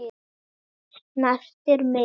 Snertir mig.